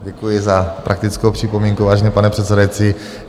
Děkuji za praktickou připomínku, vážený pane předsedající.